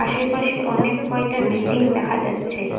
আশেপাশে অনেক কয়টা বিল্ডিং দেখা যাচ্ছে।